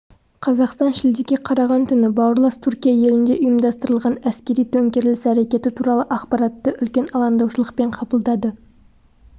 қазақстан шілдеге қараған түні бауырлас түркия елінде ұйымдастырылған әскери төңкеріліс әрекеті туралы ақпаратты үлкен алаңдаушылықпен қабылдады